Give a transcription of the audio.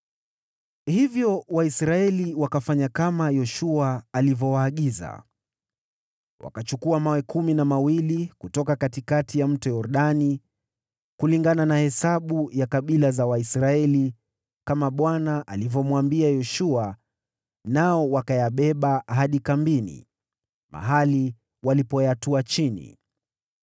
Hivyo Waisraeli wakafanya kama Yoshua alivyowaagiza. Wakachukua mawe kumi na mawili kutoka katikati ya Mto Yordani, kulingana na hesabu ya kabila za Waisraeli kama Bwana alivyomwambia Yoshua, nao wakayabeba hadi kambini mwao, mahali walipoyatua chini.